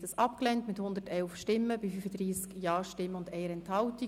Sie haben den Antrag abgelehnt mit 111 Nein- bei 35 Ja-Stimmen und 1 Enthaltung.